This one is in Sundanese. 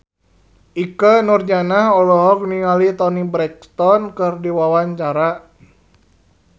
Ikke Nurjanah olohok ningali Toni Brexton keur diwawancara